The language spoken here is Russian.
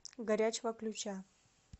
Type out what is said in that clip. горячего ключа